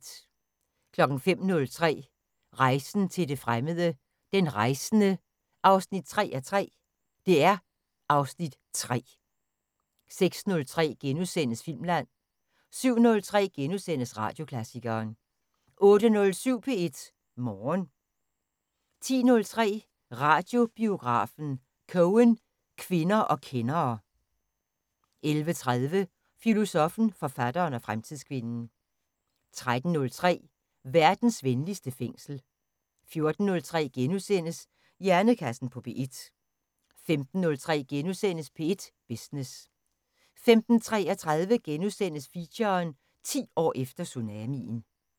05:03: Rejsen til det fremmede: Den rejsende 3:3 (Afs. 3)* 06:03: Filmland * 07:03: Radioklassikeren * 08:07: P1 Morgen 10:03: Radiobiografen: Cohen, kvinder og kendere 11:30: Filosoffen, forfatteren og fremtidskvinden 13:03: Verdens venligste fængsel 14:03: Hjernekassen på P1 * 15:03: P1 Business * 15:33: Feature: 10 år efter tsunamien *